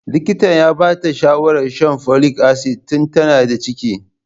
Likitan ya ba ta shawarar shan folic acid tun tana da ciki.